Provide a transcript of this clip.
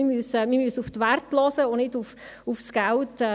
Wir müssen auf die Werte achten und nicht aufs Geld.